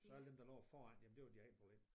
Så alle dem der lå foran jamen det var deres egen problem